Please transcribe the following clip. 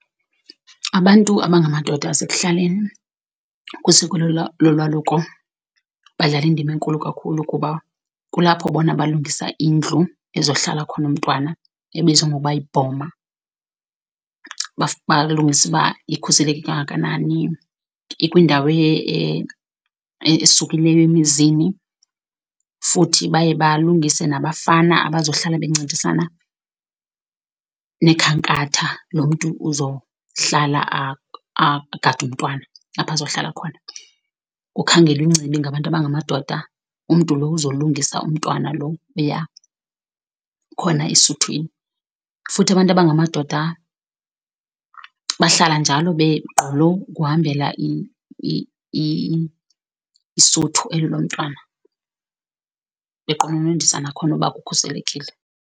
Abantu abangamadoda asekuhlaleni kwisiko lolwaluko badlala indima enkulu kakhulu, kuba kulapho bona balungisa indlu ezohlala khona umntwana ebizwa ngoba yibhoma. Balungise uba ikhuseleke kangakanani, ikwindawo esukileyo emizini futhi baye balungise nabafana abazohlala bencedisana nekhankatha, lo mntu uzohlala agade umntwana apho azohlala khona. Kukhangelwe ingcibi ngabantu abangamadoda, umntu lo uzolungisa umntwana lo oya khona esuthwini. Futhi abantu abangamadoda bahlala njalo begqolo ukuhambela isuthu eli lomntwana beqononondisa nakhona uba ukhuselekile.